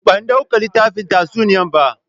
Ban dauka litafin tatsuniya bah.